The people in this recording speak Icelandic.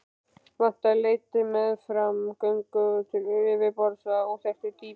Vatnið leitaði meðfram göngunum upp til yfirborðs af óþekktu dýpi.